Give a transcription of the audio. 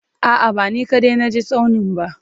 A'a, ba ni kaɗai na je tsaunin ba.